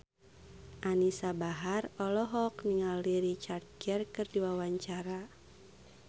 Anisa Bahar olohok ningali Richard Gere keur diwawancara